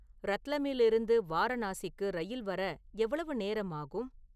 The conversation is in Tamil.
ரத்லமில் இருந்து வாரணாசிக்கு ரயில் வர எவ்வளவு நேரம் ஆகும்